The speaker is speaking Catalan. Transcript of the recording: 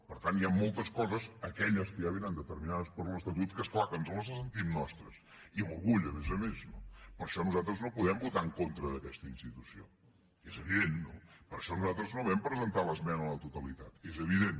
per tant hi han moltes coses aquelles que ja vénen determinades per l’estatut que és clar que ens les sentim nostres i amb orgull a més a més no per això nosaltres no podem votar en contra d’aquesta institució és evident no per això nosaltres no vam presentar l’esmena a la totalitat és evident